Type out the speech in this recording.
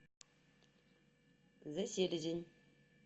зэ селезень